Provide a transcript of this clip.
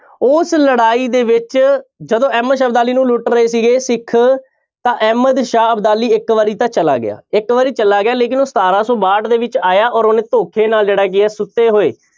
ਉਸ ਲੜਾਈ ਦੇ ਵਿੱਚ ਜਦੋਂ ਅਹਿਮਦ ਸ਼ਾਹ ਅਬਦਾਲੀ ਨੂੰ ਲੁੱਟ ਰਹੇ ਸੀਗੇ ਸਿੱਖ ਤਾਂ ਅਹਿਮਦ ਸ਼ਾਹ ਅਬਦਾਲੀ ਇੱਕ ਵਾਰੀ ਤਾਂ ਚਲਾ ਗਿਆ, ਇੱਕ ਵਾਰੀ ਚਲਾ ਗਿਆ ਲੇਕਿੰਨ ਉਹ ਸਤਾਰਾਂ ਸੌ ਬਾਹਠ ਦੇ ਵਿੱਚ ਆਇਆ ਔਰ ਉਹਨੇ ਧੋਖੇ ਨਾਲ ਜਿਹੜਾ ਕੀ ਹੈ ਸੁੱਤੇ ਹੋਏ